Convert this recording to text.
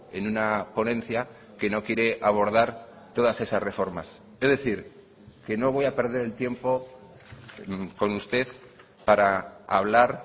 en una ponencia que no quiere abordar todas esas reformas es decir que no voy a perder el tiempo con usted para hablar